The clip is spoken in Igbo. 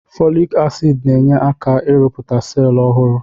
Fọlik asid na-enye aka ị rụpụta selụ ọhụrụ.